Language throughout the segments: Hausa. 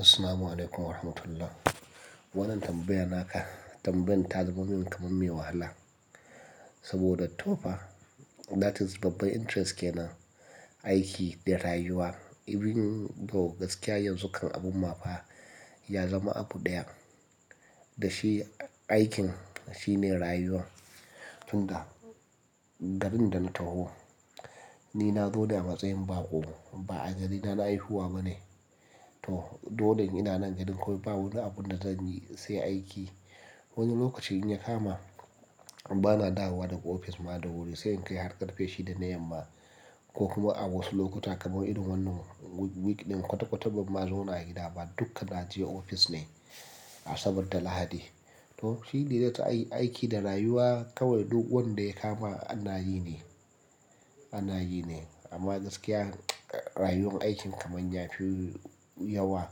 Assalamu alaikum wa rahmatullah. Wannan tambaya naka tambayan ta zamo min tumummi wahala. Saboda to fa that is babbar interest kenan aiki da rayuwa. Even to gaskiya yanzu kan abun mafa ya zama abu ɗaya da shi aikin shine rayuwa. Tunda garin da na taho ni na zo ne a matsayin bako ba a garina na haihuwa bane. To dole ina nan garin kawai ba wani abun da zanyi sai aiki. Wani lokaci in ya kama bana dawowa daga ofis ma da wuri sai in kai har ƙarfe shida na yamma ko kuma a wasu lokuta kamar irin wannan week ɗin kwata-kwatar ban ma zauna a gida ba dukka naje ofis ne saboda Lahadi. To shi ne zai aiki da rayuwa kawai duk wanda ya kama anayi ne, anayi ne. Amma gaskiya rayuwar aikin kamar yafi yawa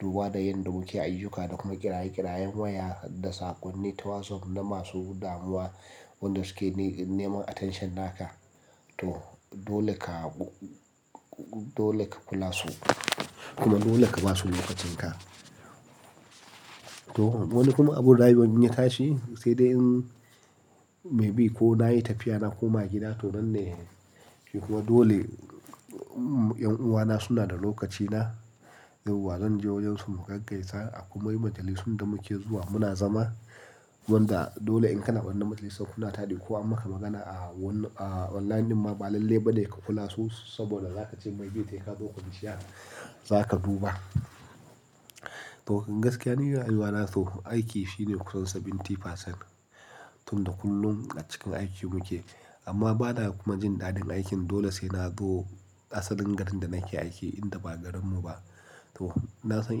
duba da yanda muke ayyuka da kuma kiraye-kirayen waya da saƙonni ta WhatsApp na masu damuwa wanda suke neman attention naka. To dole ka, dole ka kula su kuma dole ka basu lokacin ka. To wani kuma abun rayuwa in ya tashi sai dai in maybe ko nayi tafiya na koma gida to nan ne. Shi kuma dole ’yan uwana suna da lokacina yawwa zanje wajensu mu gaggaisa akwai majalisun da muke zuwa muna zama. Wanda dole in kana wannan majalisar kuna taɗi ko an maka magana a wannan a online din ma ba lalle bane ka kula su saboda za kace maybe sai ka zo kwanciya za ka duba. To kan gaskiya ni rayuwa na to aiki shine kusan 70%. Tunda kullum a cikin aiki muke amma bana kuma jin daɗin aikin dole sai na zo asalin garin da nake aiki inda ba garinmu ba. To na san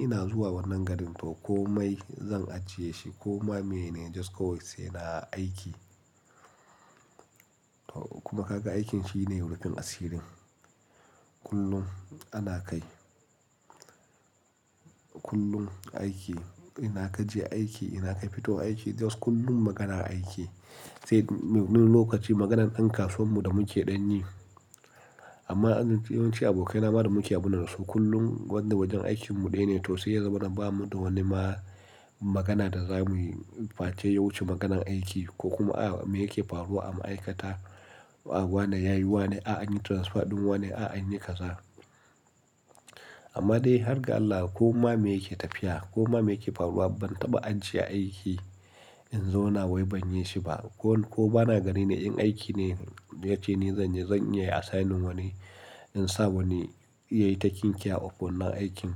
ina zuwa wannan garin to komai zan ajiye shi ko ma meyene just kawai sai na aiki. To kuma kaga aikin shine rufin asirin kullum ana kai. Kullum aiki ina ka je aiki ina ka fito aiki just kullum maganar aiki. Sai wani lokaci maganan ɗan kasuwanmu da muke ɗan ni. Amma yawanci abokaina ma da muke abunansu kullum wanda wajen aikinmu ɗaya ne to sai ya zama na bamu da wani ma magana da zamuyi face yawuce maganan aiki ko kuma a me yake faruwa a ma'aikata. Wane ya yi wane, a'a anyi transfer ɗin wane a'a anyi kasa. Amma dai har ga Allah ko ma me yake tafiya ko ma me yake faruwa ban taba ajjiye aiki in zauna wai ban yi shi ba. Ko, ko bana gari ne in aiki ne yace ni zanyi zan iya assigning wani in sa wani yayi taking care of wannan aikin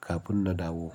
kafin na dawo.